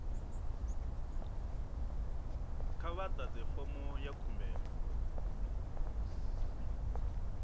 kha vha ḓadze fomo ya khumbelo